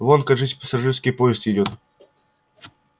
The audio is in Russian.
вон кажись пассажирский поезд идёт